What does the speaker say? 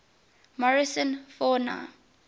morrison fauna